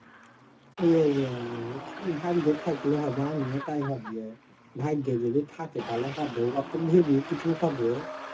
ভাগ্যে থাকলে হবে আমিও তাই ভাবি ভাগ্যে যদি থাকে তাহলে হবে অত ভেবে কিছু হবে.